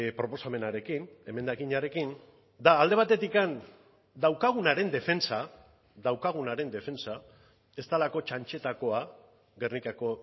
proposamenarekin emendakinarekin da alde batetik daukagunaren defentsa daukagunaren defentsa ez delako txantxetakoa gernikako